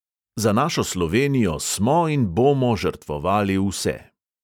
Za našo slovenijo smo in bomo žrtvovali vse.